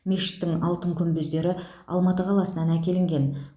мешіттің алтын күмбездері алматы қаласынан әкелінген